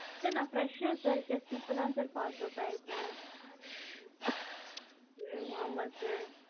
sir நான் fresher sir just இப்பதான் sir passedout ஆகிருக்கேன். உம் ஆமா sir.